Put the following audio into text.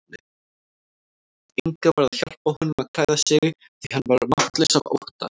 Inga varð að hjálpa honum að klæða sig því hann var máttlaus af ótta.